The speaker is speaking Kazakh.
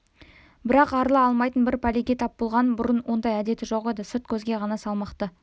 бірақ арыла алмайтын бір пәлеге тап болған бұрын ондай әдеті жоқ еді сырт көзге ғана салмақты